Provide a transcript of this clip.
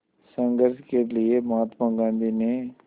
संघर्ष के लिए महात्मा गांधी ने